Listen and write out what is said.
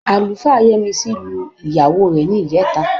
Àlùfáà Yẹ́misí lu ìyàwó rẹ̀ ní ìjẹta